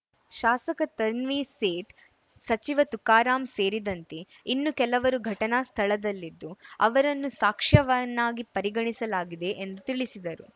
ಶಾಸಕ ತನ್ವೀರ್‌ ಸೇಠ್‌ ಸಚಿವ ತುಕಾರಾಂ ಸೇರಿದಂತೆ ಇನ್ನು ಕೆಲವರು ಘಟನಾ ಸ್ಥಳದಲ್ಲಿದ್ದು ಅವರನ್ನು ಸಾಕ್ಷ್ಯವನ್ನಾಗಿ ಪರಿಗಣಿಸಲಾಗಿದೆ ಎಂದು ತಿಳಿಸಿದರು